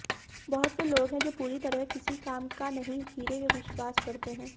बहुत से लोग हैं जो पूरी तरह किसी काम का नहीं खीरे विश्वास करते हैं